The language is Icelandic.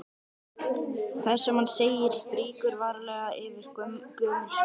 Það sem hann segir strýkur varlega yfir gömul sár.